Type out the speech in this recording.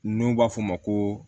N'u b'a fɔ o ma ko